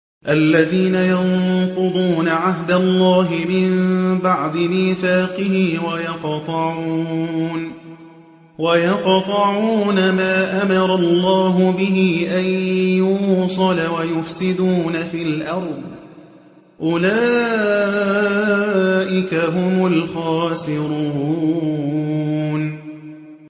الَّذِينَ يَنقُضُونَ عَهْدَ اللَّهِ مِن بَعْدِ مِيثَاقِهِ وَيَقْطَعُونَ مَا أَمَرَ اللَّهُ بِهِ أَن يُوصَلَ وَيُفْسِدُونَ فِي الْأَرْضِ ۚ أُولَٰئِكَ هُمُ الْخَاسِرُونَ